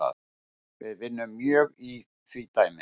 Við vinnum mjög í því dæmi